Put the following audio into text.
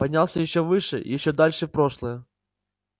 поднялся ещё выше ещё дальше в прошлое